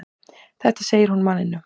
Þetta segir hún manninum.